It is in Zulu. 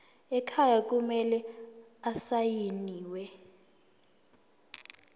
ekhaya kumele asayiniwe